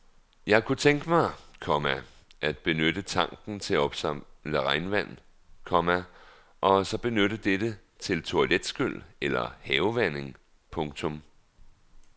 Jeg kunne tænke mig, komma at benytte tanken til at opsamle regnvand, komma og så benytte dette til toiletskyl eller havevanding. punktum